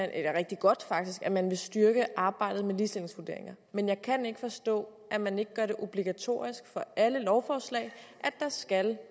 rigtig godt at man vil styrke arbejdet med ligestillingsvurderinger men jeg kan ikke forstå at man ikke gør det obligatorisk for alle lovforslag at der skal